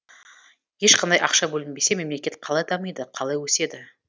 ешқандай ақша бөлінбесе мемлекет қалай дамиды қалай өседі